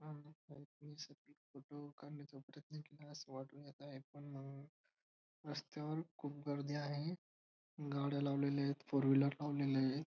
रस्त्यावर खूप गर्दी आहेत. गाड्या लावलेल्या आहेत. फोर व्हीलर लावलेल्या आहेत.